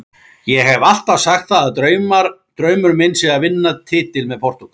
Ég hef alltaf sagt það að draumur minn sé að vinna titil með Portúgal.